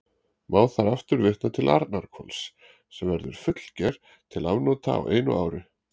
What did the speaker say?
Má þar aftur vitna til Arnarhvols, sem verður fullger til afnota á einu ári.